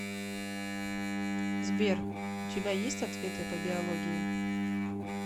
сбер у тебя есть ответы по биологии